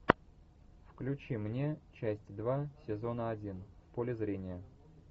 включи мне часть два сезона один в поле зрения